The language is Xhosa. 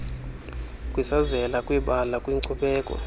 kwisazela kwibala kwinkcubeko